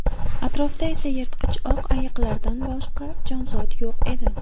Atrofda esa yirtqich oq ayiqlardan boshqa jonzot yo‘q edi.